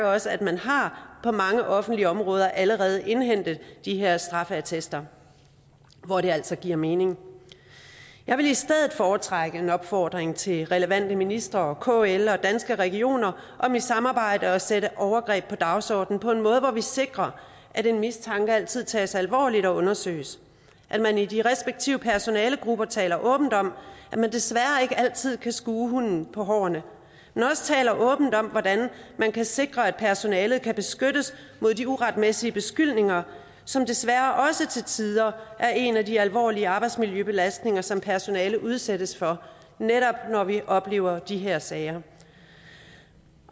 også at man på mange offentlige områder allerede har indhentet de her straffeattester hvor det altså giver mening jeg vil i stedet foretrække en opfordring til relevante ministre og kl og danske regioner om i samarbejde at sætte overgreb på dagsordenen på en måde hvor vi sikrer at en mistanke altid tages alvorligt og undersøges at man i de respektive personalegrupper taler åbent om at man desværre ikke altid kan skue hunden på hårene men også taler åbent om hvordan man kan sikre at personalet kan beskyttes mod de uretmæssige beskyldninger som desværre også til tider er en af de alvorlige arbejdsmiljøbelastninger som personalet udsættes for netop når vi oplever de her sager